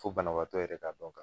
Fo banabaatɔ yɛrɛ ka dɔn ka fɔ